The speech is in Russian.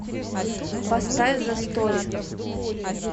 поставь зэ стори